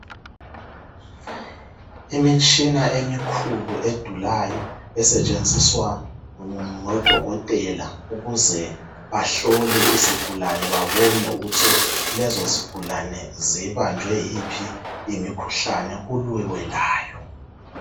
Imitshina emikhulu edulayo esetshenziswa ngodokotela ukuze bahlole izigulane babone ukuthi lezo zigulane zibanjwe yiphi imikhuhlane kulwiwelayo.